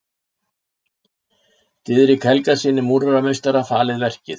Diðrik Helgasyni múrarameistara falið verkið.